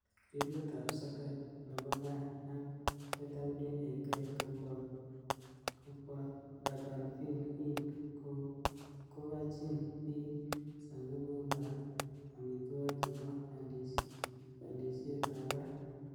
Grillit ab soket nebo gaa ak KWAK kobot Durbanville Hill kokachin biik sabibuk ak amitwagik chebo alinshet ab barak.